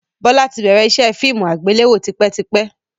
Bọlá tí bẹ̀rẹ̀ ìṣe fíìmù àgbéléwò tipẹ́tipẹ́